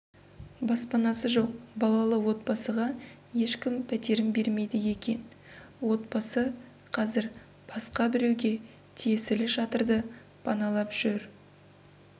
баспанасы жоқ балалы отбасыға ешкім пәтерін бермейді екен отбасы қазір басқа біреуге тиесілі шатырды паналап жүр